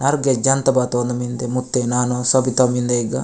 आर्गै जान त बा तोन मिन्दे मुत्ते नानो सबिता मिनदेयगा।